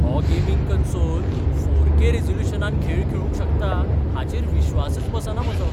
हो gaming console four K रिझोल्यूशनांत खेळ खेळूंक शकता हाचेर विश्वासच बसना म्हजो.